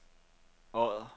Odder